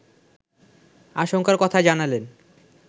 আশঙ্কার কথাই জানালেন